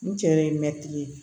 N cɛ ye mɛtiri ye